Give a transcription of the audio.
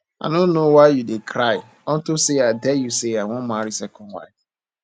i no know why you dey cry unto say i tell you say i wan marry second wife